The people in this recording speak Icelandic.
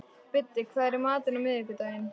Biddi, hvað er í matinn á miðvikudaginn?